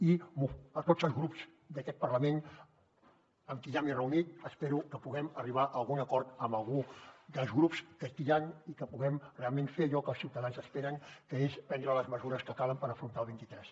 i a tots els grups d’aquest parlament amb qui ja m’he reunit espero que puguem arribar a algun acord amb algun dels grups que aquí hi han i que puguem realment fer allò que els ciutadans esperen que és prendre les mesures que calen per afrontar el vint tres